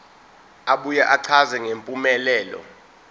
abuye achaze ngempumelelo